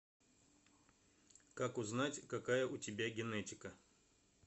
как узнать какая у тебя генетика